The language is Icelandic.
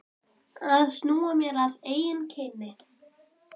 Að snúa mér að eigin kyni.